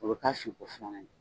O be k'a fin ko falanan ye.